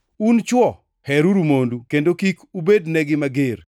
Un chwo, heruru mondu, kendo kik ubednegi mager.